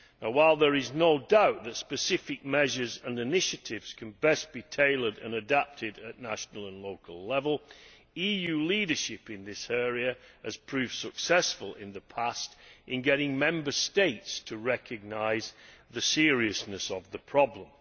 While there is no doubt that specific measures and initiatives can best be tailored and adapted at national and local level, EU leadership in this area has proved successful in the past in getting Member States to recognise the seriousness of the problem.